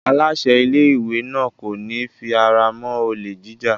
Aláṣẹ ilé-ìwé náà kò ní fi ara mọ́ olè jíjà.